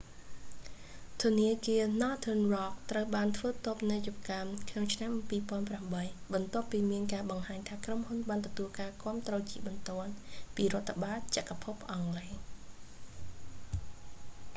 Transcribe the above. ធនាគារ northern rock ត្រូវបានធ្វើតូបនីយកម្មក្នុងឆ្នាំ 2008 បន្ទាប់ពីមានការបង្ហាញថាក្រុមហ៊ុនបានទទួលការគាំទ្រជាបន្ទាន់ពីរដ្ឋាភិបាលចក្រភពអង់គ្លេស